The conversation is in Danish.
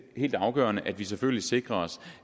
helt afgørende at vi selvfølgelig sikrer os